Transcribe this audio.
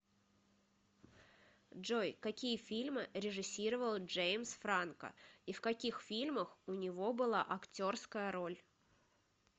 джой какие фильмы режиссировал джеимс франко и в каких фильмах у него была актерская роль